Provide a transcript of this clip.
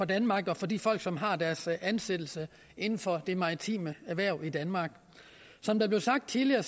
danmark og for de folk som har deres ansættelse inden for de maritime erhverv i danmark som der blev sagt tidligere